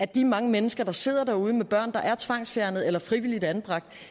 de mange mennesker der sidder derude med børn der er tvangsfjernet eller frivilligt anbragt